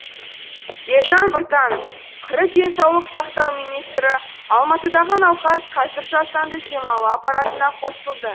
елжан біртанов қр денсаулық сақтау министрі алматыдағы науқас қазір жасанды демалу аппаратына қосылды